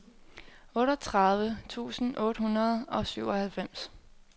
otteogtredive tusind otte hundrede og syvoghalvfems